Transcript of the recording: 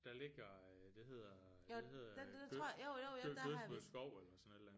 Der ligger øh det hedder det hedder Gø Gødfrid Skov eller sådan et eller andet